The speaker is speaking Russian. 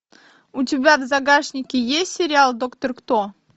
у тебя в загашнике есть сериал доктор кто